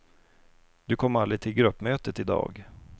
Du kom aldrig till gruppmötet i dag.